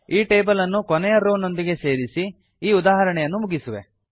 ಈ ಟೇಬಲ್ ಅನ್ನು ಕೊನೆಯ ರೋವ್ ನೊಂದಿಗೆ ಸೇರಿಸಿ ಈ ಉದಾಹರಣೆಯನ್ನು ಮುಗಿಸುವೆ